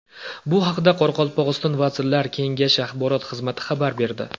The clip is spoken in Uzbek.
Bu haqda Qoraqalpog‘iston Vazirlar Kengashi axborot xizmati xabar berdi .